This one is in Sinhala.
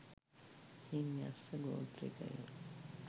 එයින් යක්‍ෂ ගෝත්‍රිකයෝ